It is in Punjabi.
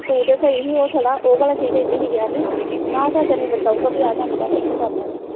ਤੂੰ ਤੇ ਸਹੀ ਸੀ ਉਹ ਥੋੜ੍ਹਾ ਉਹ ਭਲਾਂ ਕੀ ਕਹਿੰਦੀ ਸੀ ਕਹਿੰਦੀ ਨਾ ਚਾਚਾ ਨਿੰਦਰ ਕਹੂਗਾ ਵੀ ਆਹ ਕੰਮ ਕਰ ਲਾ ਮੈਂ ਕਰ ਲੈਣਾ।